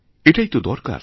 এটাই তো দরকার